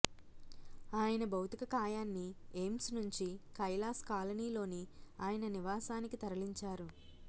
ఆయన భౌతికకాయాన్ని ఎయిమ్స్ నుంచి కైలాశ్ కాలనీలోని ఆయన నివాసానికి తరలించారు